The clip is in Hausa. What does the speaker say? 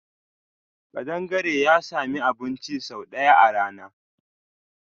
Kadangare ya sami abun ci sau daya a rana.